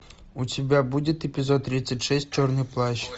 у тебя будет эпизод тридцать шесть черный плащ